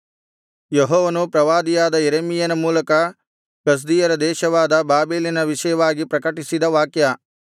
ಯೆಹೋವನು ಪ್ರವಾದಿಯಾದ ಯೆರೆಮೀಯನ ಮೂಲಕ ಕಸ್ದೀಯರ ದೇಶವಾದ ಬಾಬೆಲಿನ ವಿಷಯವಾಗಿ ಪ್ರಕಟಿಸಿದ ವಾಕ್ಯ